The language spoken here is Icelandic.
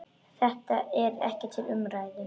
Þetta er ekki til umræðu.